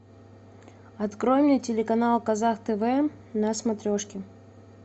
открой мне телеканал казах тв на смотрешке